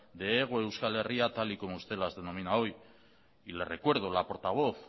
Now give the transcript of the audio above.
de hego euskal herria tal y como usted la denomina hoy y le recuerdo la portavoz